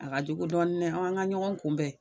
A ka jugu dɔɔni nɛ ɔ an ga ɲɔgɔn kunbɛn